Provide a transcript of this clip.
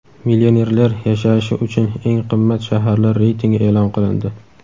Millionerlar yashashi uchun eng qimmat shaharlar reytingi e’lon qilindi.